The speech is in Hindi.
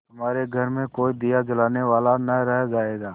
तुम्हारे घर में कोई दिया जलाने वाला न रह जायगा